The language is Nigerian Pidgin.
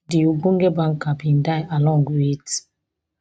di ogbonge banker bin die along wit